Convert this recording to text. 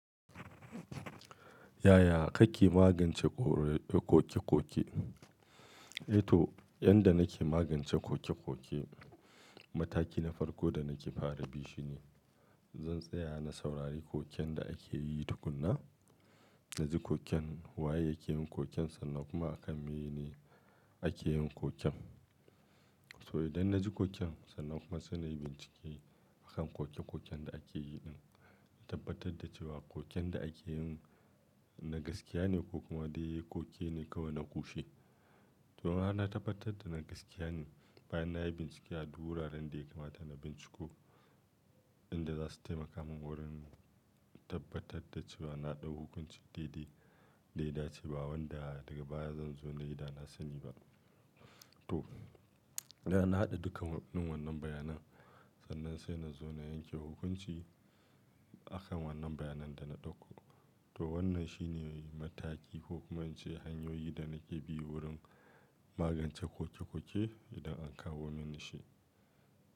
Yaya kake magance ƙoƙe-ƙoƙe? To, yadda nake magance ƙoƙe-ƙoƙe, mataki na farko da nake fara bi shi ne zan tsaya na saurari ƙoƙen da ake yi tukuna. Na ji ƙoƙen, wa yake yin ƙoƙen sannan kuma akan mene ake yin ƙoƙen. To idan na ji koken sannan kuma sai na yi bincike akan koke-koken da ake yi ɗin, na tabbatar da cewa ƙoƙen da ake yin na gaskiya ne ko kuma dai ƙoƙi ne kawai na ƙushe. To ina na tabbatar da na gaskiya ne, bayan na yi bincike a duwura da yake mata na binciko, inda za su taimaka min wurin tabbatar da cewa na ɗau hukunci daidai. Da ita ce ba wanda daga baya zan zo na yi da na sani ba. To, idan na haɗa dukkan wannan bayanan sannan sai na zo na yanke hukunci akan wannan bayanan da na ɗauko. To wannan shi ne mataki ko kuma ice hanyoyi da nake bi wurin magance ƙoƙe-ƙoƙe idan an kawo mini shi.